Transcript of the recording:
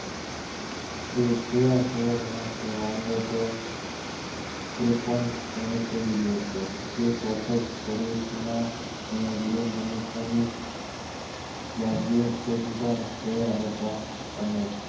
એ કયા શહેર માં છે માંગો તો એ પણ એને કહી દે છે એક વખત મેં ભરૂચ માં મેં બે મનુષ્યો ની વાન્ગ્યા જોયા હતા અને